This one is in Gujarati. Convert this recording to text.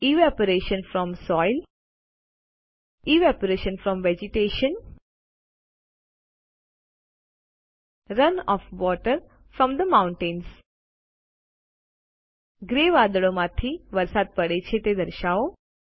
evaporation from soil evaporation from vegetation run off water from the mountains grey વાદળો માંથી વરસાદ પડે છે તે દર્શાવો